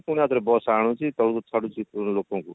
ପୁଣି ଆଉଥରେ bus ଆଣୁଛି ତଳକୁ ଛାଡୁଛି ପୁଣି ଲୋକଙ୍କୁ